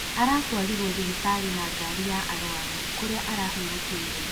Aratwarirwo thibitarĩ ya na gari ya arwaru kũrĩa arahurũkĩire.